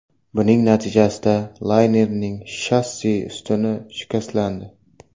Buning natijasida laynerning shassi ustuni shikastlandi.